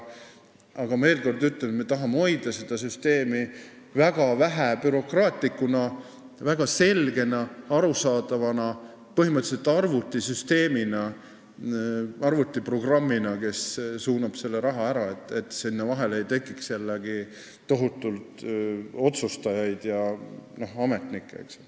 Aga ma veel kord ütlen, et me tahame seda süsteemi hoida väga vähebürokraatlikuna, väga selgena, arusaadavana, põhimõtteliselt arvutiprogrammina, mis suunab selle raha ära nii, et sinna vahele ei tekiks jällegi tohutult otsustajaid, st ametnikke.